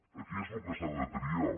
aquí és el que s’ha de triar